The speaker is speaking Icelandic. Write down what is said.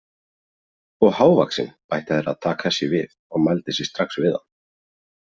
Og hávaxinn, bætti Herra Takashi við og mældi sig strax við hann.